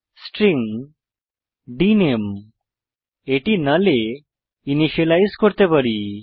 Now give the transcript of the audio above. string ডিএনএমই এটি null এ ইনিসিয়েলাইজ করতে পারি